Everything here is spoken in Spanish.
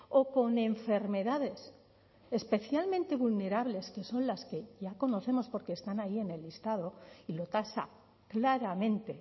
o con enfermedades especialmente vulnerables que son las que ya conocemos porque están ahí en el listado y lo tasa claramente